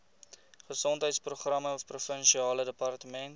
gesondheidsprogramme provinsiale departement